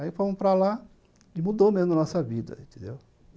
Aí fomos para lá e mudou mesmo a nossa vida, entendeu?